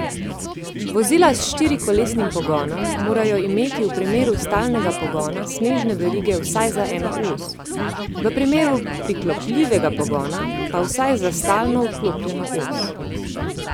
Vozila s štirikolesnim pogonom morajo imeti v primeru stalnega pogona snežne verige vsaj za eno os, v primeru priklopljivega pogona pa vsaj za stalno vklopljeno os.